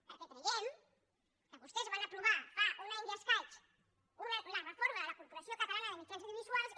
perquè creiem que vostès van aprovar fa un any i escaig la reforma de la corporació catalana de mitjans audiovisuals i